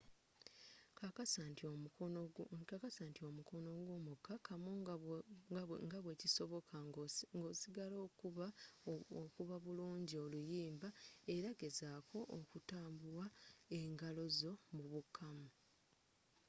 kakasa nti omukono gwo mukakamu nga bwekisoboka nga osigaal okuba buliungi oluyimba era gezaako okutambua engalozo mu bukkamu